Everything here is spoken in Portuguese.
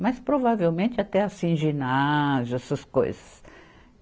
Mas provavelmente até assim ginásio, essas coisas.